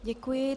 Děkuji.